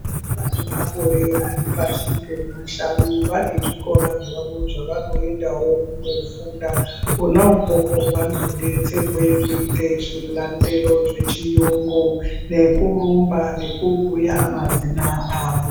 Vana vane makore aripashi pemashanu vane zvikora zvavo zvavanoendawo kofunda kona ikoko vandodetserwe kuita zvilandelo zvechiungu nekurumba nekubuya mazina avo.